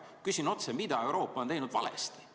Küsin otse: mida Euroopa on teinud valesti?